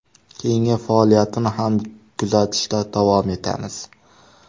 Keyingi faoliyatini ham kuzatishda davom etamiz.